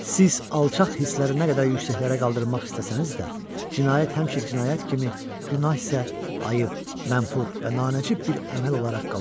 Siz alçaq hisslərinə qədər yüksəklərə qaldırmaq istəsəniz də, cinayət həmişə cinayət kimi, günah isə ayıb, məmfur və nanəcib bir əməl olaraq qalacaqdır.